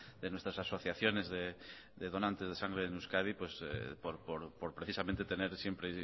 de nuestras asociaciones de donantes de sangre en euskadi por precisamente tener siempre